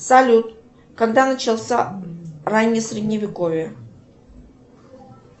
салют когда начался раннее средневековье